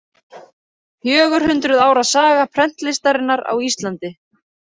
Fjögur hundruð ára saga prentlistarinnar á Íslandi.